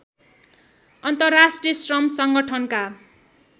अन्तर्राष्ट्रिय श्रम सङ्गठनका